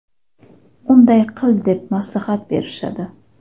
unday qil deb maslahat berishadi.